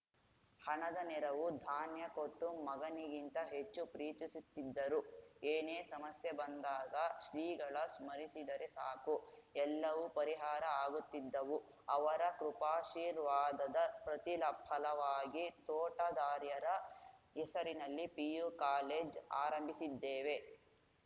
ಹಣದ ನೆರವು ಧಾನ್ಯ ಕೊಟ್ಟು ಮಗನಿಗಿಂತ ಹೆಚ್ಚು ಪ್ರೀತಿಸುತ್ತಿದ್ದರು ಏನೇ ಸಮಸ್ಯೆ ಬಂದಾಗ ಶ್ರೀಗಳ ಸ್ಮರಿಸಿದರೆ ಸಾಕು ಎಲ್ಲವೂ ಪರಿಹಾರ ಆಗುತ್ತಿದ್ದವು ಅವರ ಕೃಪಾಶೀರ್ವಾದದ ಪ್ರತಿಫಲವಾಗಿ ತೋಟದಾರ್ಯರ ಹೆಸರಿನಲ್ಲಿ ಪಿಯು ಕಾಲೇಜ್‌ ಆರಂಭಿಸಿದ್ದೇವೆ